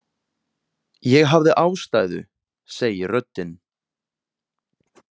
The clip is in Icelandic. Ég hafði ástæðu, segir röddin.